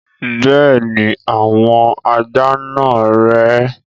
Bẹ́ẹ̀ni, àwọn ajá náà rè é.